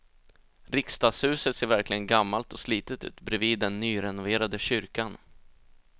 Riksdagshuset ser verkligen gammalt och slitet ut bredvid den nyrenoverade kyrkan.